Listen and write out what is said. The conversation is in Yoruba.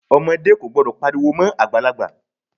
Ọmọdé kò gbọdọ̀ pariwo mọ́ Àgbàlagbà.